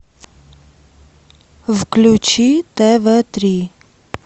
включи тв три